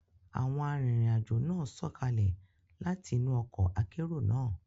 Awọn arinrin-ajo náà sọkalẹ láti inú ọkọ akero náà